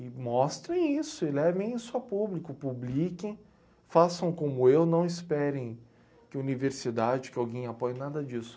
E mostrem isso, e levem isso a público, publiquem, façam como eu, não esperem que universidade, que alguém apoie, nada disso.